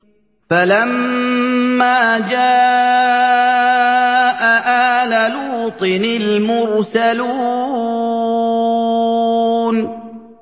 فَلَمَّا جَاءَ آلَ لُوطٍ الْمُرْسَلُونَ